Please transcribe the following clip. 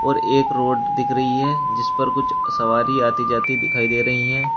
और एक रोड दिख रही है जिस पर कुछ सवारी आती जाती दिखाई दे रही हैं।